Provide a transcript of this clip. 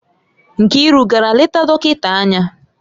Nkiru gara leta dọkịta anya?